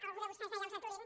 algú de vostès deia els aturin